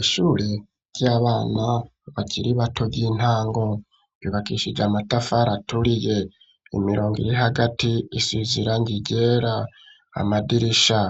Ishuri ry'abana, bakiri bato, ry'intango; yubakishije amatafari aturiye; imirongo iri hagati, isize irangi ryera, amadirisha